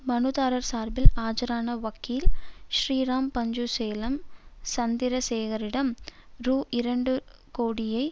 மனுதாரர் சார்பில் ஆஜரான வக்கீல் ஸ்ரீராம் பஞ்சு சேலம் சந்திரசேகரிடம் ரூஇரண்டுகோடியே